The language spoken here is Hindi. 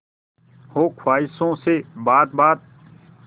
हो ख्वाहिशों से बात बात